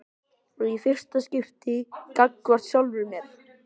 Og í fyrsta skipti gagnvart sjálfri sér.